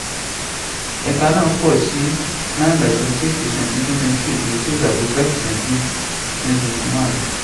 ẹ̀ka náà pọ̀ sí nine by forty six per cent ní twenty twenty two ju six by fifty five per cent twenty twenty one lọ.